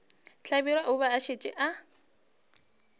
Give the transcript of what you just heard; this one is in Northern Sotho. hlabirwa o be a šetše